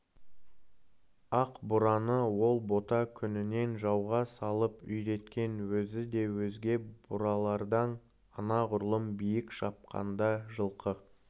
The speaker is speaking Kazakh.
ақ бураны ол бота күнінен жауға салып үйреткен өзі де өзге буралардан анағұрлым биік шапқанда жылқы